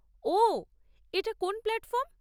ওহ, এটা কোন প্ল্যাটফর্ম?